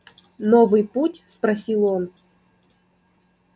новый путь спросил он